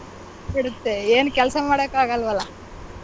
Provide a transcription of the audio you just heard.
ಏನ್ ಕೆಲಸ ಮಾಡಕಾಗಲ್ವಲ್ಲ.